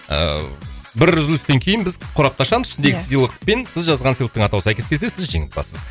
ыыы бір үзілістен кейін біз қорапты ашамыз ішіндегі сыйлық пен сіз жазған сыйлықтың атауы сәйкес келсе сіз жеңімпазсыз